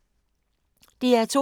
DR2